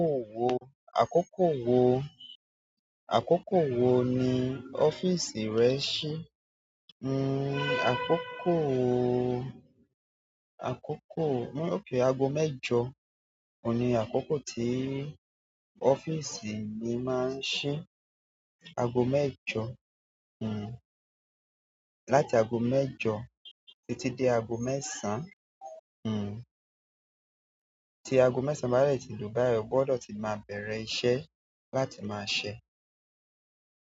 Àkókò wo, àkókò wo, àkókò wo ni ọ́fíìsì rẹ ṣí? Hmm àkókò, àkókò, hmm okay ago mẹ́jọ oun ni àkókò tí ọ́fíìsì mi máa ń ṣí. Ago mẹ́jọ, hmm. Láti ago mẹ́jọ títí dé ago mẹ́sàn-án, hmm. Ti ago mẹ́sàn-án bá de ti lu báyìí, o gbọ́dọ̀ ti má bẹ̀rẹ̀ iṣẹ́ láti máa ṣẹ́.